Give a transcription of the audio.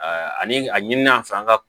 ani a ɲin'an fɛ an ka